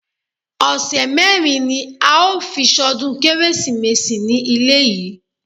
Ọ̀sẹ̀ mérin ní a ó fi ṣọdún kérésìmesì ní ilé yìí.